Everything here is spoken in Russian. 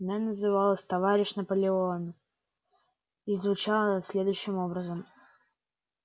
она называлась товарищ наполеон и звучала следующим образом